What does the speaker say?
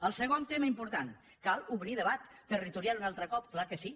el segon tema important cal obrir debat territorial un altre cop és clar que sí